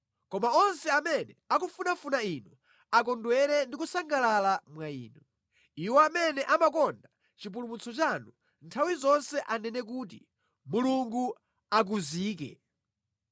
Koma onse amene akufunafuna Inu akondwere ndi kusangalala mwa Inu; iwo amene amakonda chipulumutso chanu nthawi zonse anene kuti, “Mulungu akuzike!”